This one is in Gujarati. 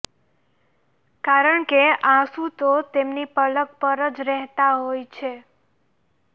કારણકે આંસુ તો તેમની પલક પર જ રહેતા હોય છે